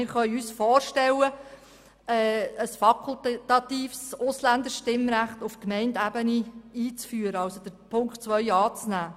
Wir können uns vorstellen, ein fakultatives Ausländerstimmrecht auf Gemeindeebene einzuführen, und nehmen demnach Punkt 2 an.